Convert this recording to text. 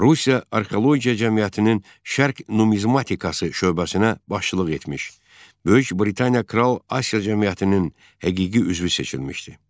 Rusiya Arxeologiya Cəmiyyətinin Şərq Numizmatikası şöbəsinə başçılıq etmiş, Böyük Britaniya Kral Asiya Cəmiyyətinin həqiqi üzvü seçilmişdi.